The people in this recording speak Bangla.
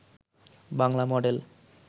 বাংলা মডেল